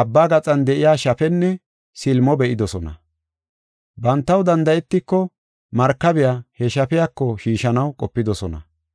abba gaxan de7iya shafenne silimo be7idosona. Bantaw danda7etiko markabiya he shafiyako shiishanaw qopidosona.